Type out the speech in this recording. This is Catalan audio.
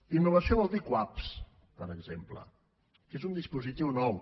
innovació vol dir cuap per exemple que és un dispositiu nou